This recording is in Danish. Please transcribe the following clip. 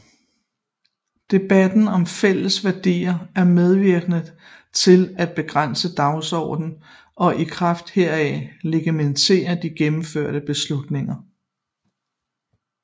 Debatten om fælles værdier er medvirkende til at begrænse dagsordenen og i kraft heraf legitimere de gennemførte beslutninger